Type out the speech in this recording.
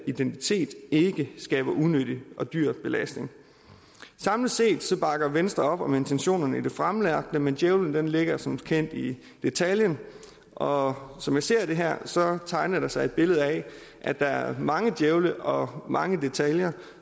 identitet ikke skaber unødig og dyr belastning samlet set bakker venstre op om intentionerne i det fremlagte men djævlen ligger som kendt i detaljen og som jeg ser det her tegner der sig et billede af at der er mange djævle og mange detaljer